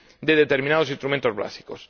de determinados instrumentos básicos.